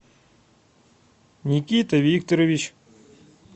никита викторович